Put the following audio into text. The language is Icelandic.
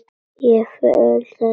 Ég öfunda hana.